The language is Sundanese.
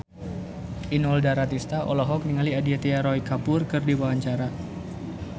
Inul Daratista olohok ningali Aditya Roy Kapoor keur diwawancara